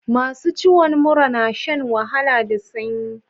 Masu ciwon mura na shan wahala da sanyi.